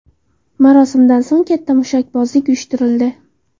Marosimdan so‘ng katta mushakbozlik uyushtirildi.